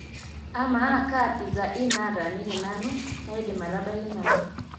amaa kaa pizaa inn nataaniki nanu naadim atabaki nanu